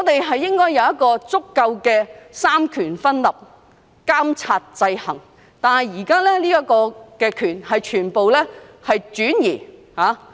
香港應秉承充分的三權分立，互相監察制衡，但現時立法權已轉移......